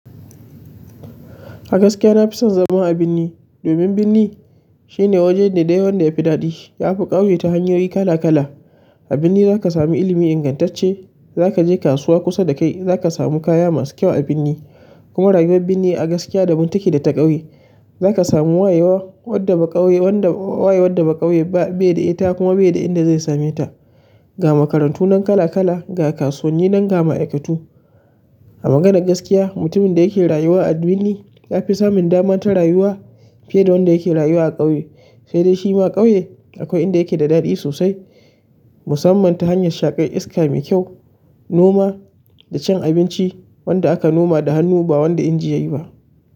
A gaskiya na fi son zama a birni domin birni shine wajen da dai wanda ya fi daɗi yafi ƙauye ta hanyoyi kala kala. A birni zaka samu ilimi ingantacce, zaka je kasuwa kusa da kai, zaka samu kaya masu kyau a birni kuma rayuwar birni a gaskiya daban take da ta ƙauye. Zaka samu wayewa wadda baƙauye, wanda waye wadda baƙauye ba beda ita kuma beda inda zai same ta. Ga makarantu nan kala kala, ga kasuwanni nan, ga ma'aikatu. A maganar gaskiya, mutumin da yake rayuwa a birni ya fi samun dama ta rayuwa fiye da wanda yake rayuwa a ƙauye. Sai dai shi ma ƙauye akwai inda yake da daɗi sosai musamman ta hanyar shaƙai iska mai kyau, noma da cin abinci wanda aka noma da hannu ba wanda inji yayi ba.